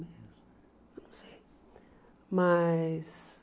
Eu não sei mas.